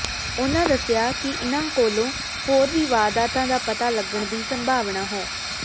ਉਨਾਂ ਦੱਸਿਆ ਕਿ ਇਨਾਂਕੋਲੋ ਹੋਰ ਵੀ ਵਾਰਦਾਤਾਂ ਦਾ ਪਤਾ ਲੱਗਣ ਦੀ ਸੰਭਾਵਨਾ ਹੈ